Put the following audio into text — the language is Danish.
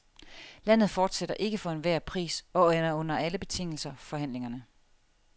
Landet fortsætter ikke for enhver pris og under alle betingelser forhandlingerne.